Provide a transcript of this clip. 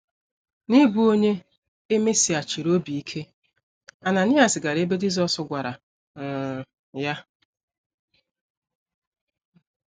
N’ịbụ onye e mesighachiri obi ike, Ananaịas gara ebe Jisọs gwara um ya.